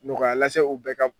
Nɔgɔya lase u bɛɛ ka